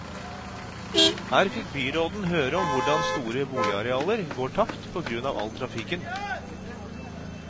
Her fikk byråden høre om hvordan store boligarealer går tapt på grunn av all trafikken.